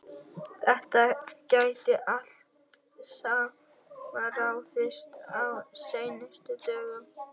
Þetta gæti allt saman ráðist á seinustu dögunum.